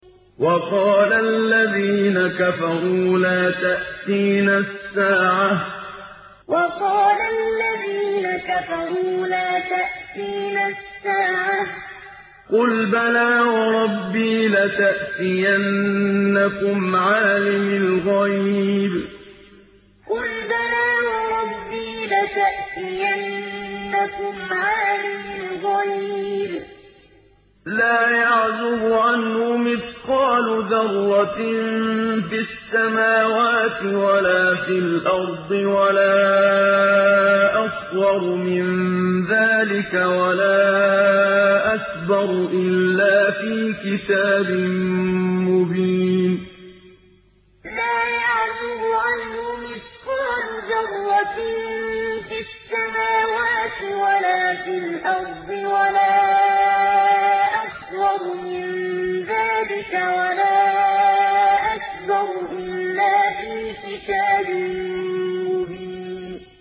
وَقَالَ الَّذِينَ كَفَرُوا لَا تَأْتِينَا السَّاعَةُ ۖ قُلْ بَلَىٰ وَرَبِّي لَتَأْتِيَنَّكُمْ عَالِمِ الْغَيْبِ ۖ لَا يَعْزُبُ عَنْهُ مِثْقَالُ ذَرَّةٍ فِي السَّمَاوَاتِ وَلَا فِي الْأَرْضِ وَلَا أَصْغَرُ مِن ذَٰلِكَ وَلَا أَكْبَرُ إِلَّا فِي كِتَابٍ مُّبِينٍ وَقَالَ الَّذِينَ كَفَرُوا لَا تَأْتِينَا السَّاعَةُ ۖ قُلْ بَلَىٰ وَرَبِّي لَتَأْتِيَنَّكُمْ عَالِمِ الْغَيْبِ ۖ لَا يَعْزُبُ عَنْهُ مِثْقَالُ ذَرَّةٍ فِي السَّمَاوَاتِ وَلَا فِي الْأَرْضِ وَلَا أَصْغَرُ مِن ذَٰلِكَ وَلَا أَكْبَرُ إِلَّا فِي كِتَابٍ مُّبِينٍ